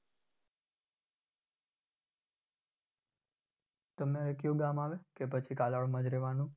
તમે કયું ગામ આવે કે પછી કાલાવડમાં જ રેવાનું?